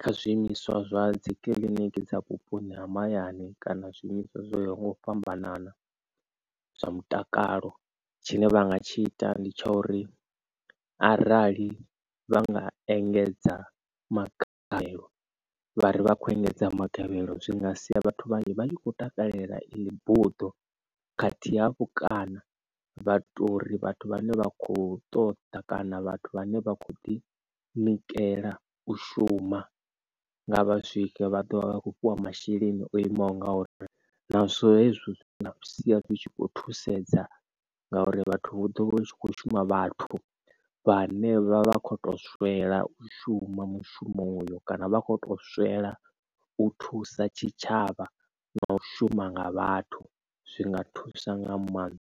kha zwiimiswa zwa dzi kiliniki dza vhuponi ha mahayani kana zwiimiswa zwo yaho nga u fhambanana zwa mutakalo tshine vhanga tshi ita ndi tsha uri arali vha nga engedza magavhelo vhari vha kho engedza magavhelo zwi nga sia vhathu vhanzhi vha tshi khou takalela iḽi buḓo khathihi hafhu. Kana vhato uri vhathu vhane vha kho ṱoḓa kana vhathu vhane vha kho ḓi nikela u shuma nga vha swike vha ḓovha vha kho fhiwa masheleni o imaho ngauri nazwo hezwo zwithu zwi nga sia zwi tshi khou thusedza ngauri vhathu ḓovha u tshi kho shuma vhathu vhane vha vha kho to swela u shuma mushumo uyo kana vha kho to swela u thusa tshitshavha na u shuma nga vhathu zwi nga thusa nga maanḓa.